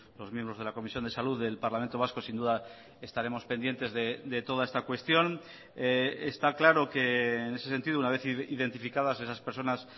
los miembros de la comisión de salud del parlamento vasco sin duda estaremos pendientes de toda está cuestión está claro que en ese sentido una vez identificadas esas personas